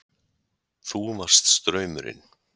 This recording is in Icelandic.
Þú varst straumurinn.